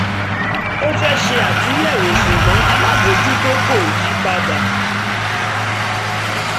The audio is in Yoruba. ó fẹ́ ṣe àtúnyẹ̀wò ṣùgbọ́n alábòjútó ko yí padà